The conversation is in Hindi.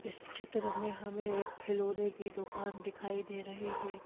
इस चित्र में हमें एक खिलौने की दुकान दिखाई दे रही है।